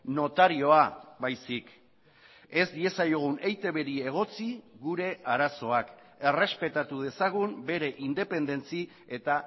notarioa baizik ez diezaiogun eitbri egotzi gure arazoak errespetatu dezagun bere independentzia eta